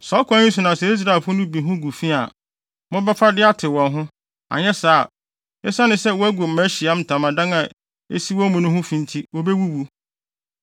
“ ‘Saa ɔkwan yi so na sɛ Israelfo no bi ho gu fi a, mobɛfa de atew wɔn ho; anyɛ saa a, esiane sɛ wɔagu mʼAhyiae Ntamadan a esi wɔn mu no ho fi nti, wobewuwu.’ ”